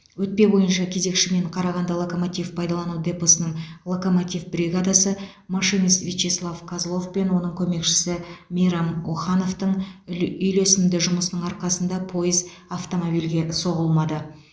өтпе бойынша кезекші мен қарағанды локомотив пайдалану депосының локомотив бригадасы машинист вячеслав козлов пен оның көмекшісі мейрам охановтың үй үйлесімді жұмысының арқасында пойыз автомобильге соғылмады